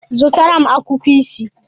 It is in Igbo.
Zụtara m akwụkwọ isii.